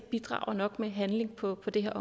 bidrager nok med handling på det her